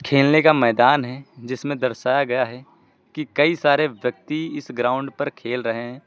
खेलने का मैदान है जिसमें दर्शाया गया है कि कई सारे व्यक्ति इस ग्राउंड पर खेल रहे हैं।